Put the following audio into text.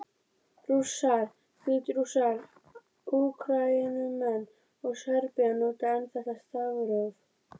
Rússar, Hvítrússar, Úkraínumenn og Serbar nota enn þetta stafróf.